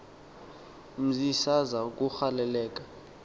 mzi saza kugaleleka